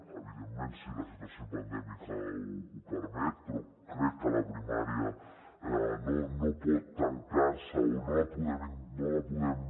evidentment si la situació pandèmica ho permet però crec que la primària no pot tancar se o no la podem